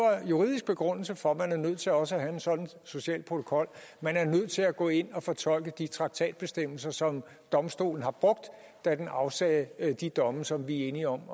juridisk begrundelse for at man er nødt til også at have en sådan social protokol man er nødt til at gå ind at fortolke de traktatbestemmelser som domstolen har brugt da den afsagde de domme som vi er enige om